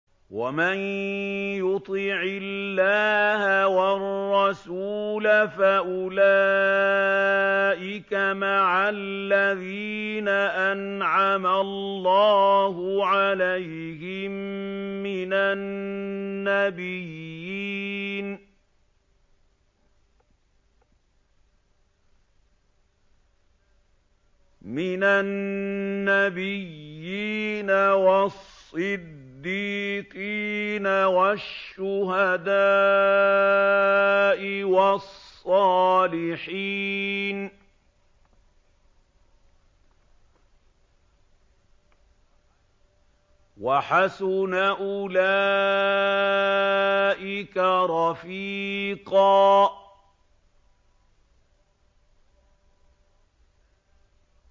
وَمَن يُطِعِ اللَّهَ وَالرَّسُولَ فَأُولَٰئِكَ مَعَ الَّذِينَ أَنْعَمَ اللَّهُ عَلَيْهِم مِّنَ النَّبِيِّينَ وَالصِّدِّيقِينَ وَالشُّهَدَاءِ وَالصَّالِحِينَ ۚ وَحَسُنَ أُولَٰئِكَ رَفِيقًا